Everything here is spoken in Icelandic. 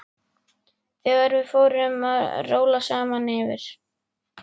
Þegar við fórum að róla saman yfir